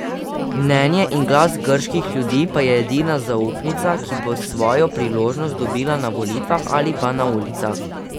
Mnenje in glas grških ljudi pa je edina zaupnica, ki bo svojo priložnost dobila na volitvah ali pa na ulicah.